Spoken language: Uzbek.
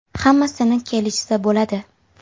Hammasini kelishsa bo‘ladi.